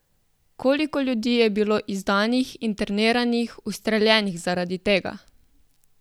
Koliko ljudi je bilo izdanih, interniranih, ustreljenih zaradi tega?